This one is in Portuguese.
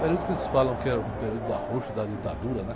Período que eles falam que era o período do arrocho da ditadura, né?